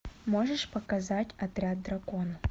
можешь показать отряд дракона